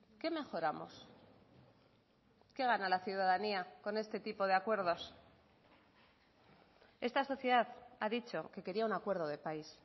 qué mejoramos qué gana la ciudadanía con este tipo de acuerdos esta sociedad ha dicho que quería un acuerdo de país